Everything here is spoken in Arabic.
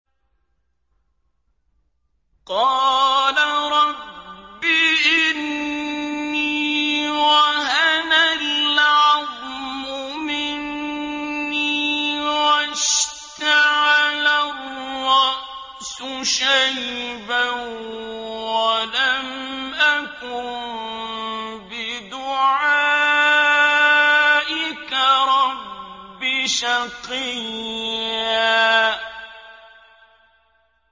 قَالَ رَبِّ إِنِّي وَهَنَ الْعَظْمُ مِنِّي وَاشْتَعَلَ الرَّأْسُ شَيْبًا وَلَمْ أَكُن بِدُعَائِكَ رَبِّ شَقِيًّا